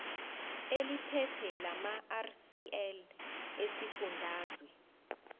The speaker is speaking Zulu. eliphethe lamarcl esifundazwe